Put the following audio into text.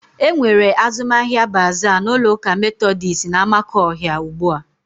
E nwere azụmahịa baaza n'ụlọụka Metodis n'Amakọhia ugbu a.